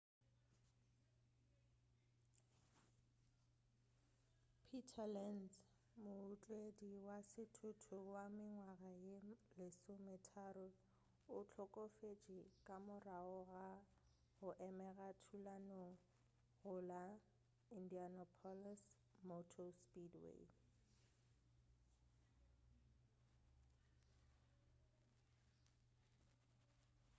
peter lenz mootledi wa sethuthutu wa mengwaga ye 13 o hlokofetše ka morago ga go amega thulanong go la indianapolis motor speedway